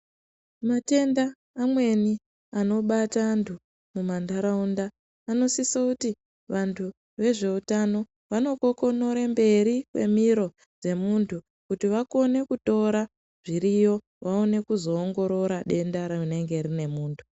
Matenda amweni anobata antu mumandaraunda, anosise kuti vantu vezveutano vanokokonora mberi kwemiro dzemuntu ,kuti vakone kutora zviriyo vaone kuzoongorora denda rinenge rine muntu.